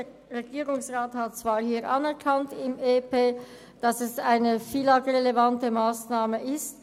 Der Regierungsrat hat zwar anerkannt, dass es eine FILAG-relevante Massnahme ist.